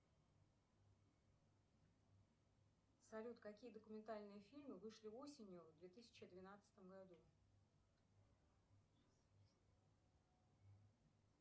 салют какие документальные фильмы вышли осенью в две тысячи двенадцатом году